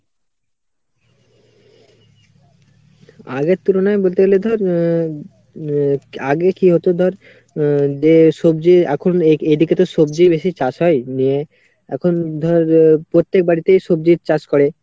আগের তুলনায় বলতে গেলে ধর উম উম আগে কি হোত ধর উম যে সবজির এখন এ এদিকেতো সবজিই বেশি চাষ হয়, নিয়ে এখন ধর পত্তেক বাড়িতেই সবজির চাষ করে।